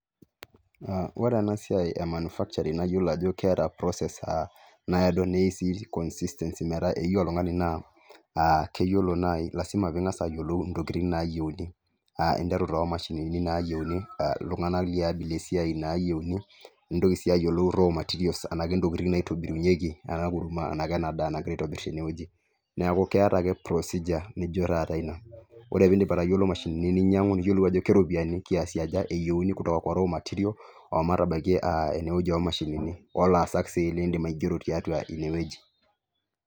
Aaa ore ena siai emanufakcharing' naiyolo ajo keeta cs[process]cs nayodo neyeu sii cs[consistency]cs metaa eyeu oltung'ani naa aa, keyolo nai lasima piing'as ayolou intokiting' naayeuni aa interu toomashinini naayeuni iltung'ana liabila esiai naayeuni nintoki sii ayoluo cs[raw materials]cs enaa kentokiting' naitobirunyeki ena kurma ena kena daa nagirai aitobirr tene weji neeku keeta ake cs[procedure]cs nijo taata ina ore piindip atayolo imashinini ninyang'u niyolou ajo keropiyani cs[kiasi]cs aja eyeuni kutoka kwa cs[raw materials]cs omatabaiki ene weji oomashinini olaasak sii liindim aigero tiatua ine weji.